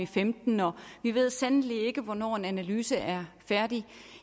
femten og vi ved sandelig ikke hvornår en analyse er færdig